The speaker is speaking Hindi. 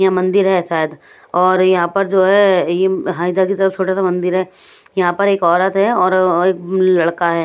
यह मंदिर है शायद और यहां पर जो है ये हैदर की तरफ छोटा सा मंदिर है यहां पर एक औरत है और एक लड़का है।